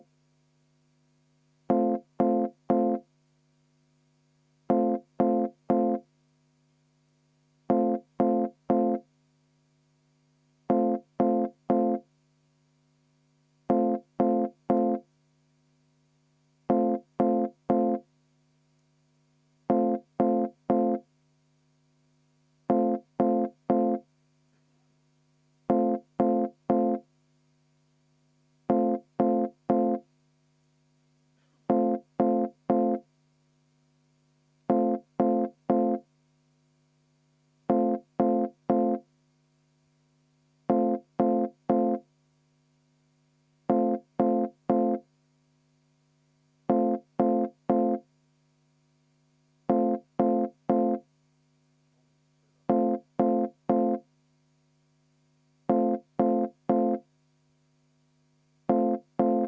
V a h e a e g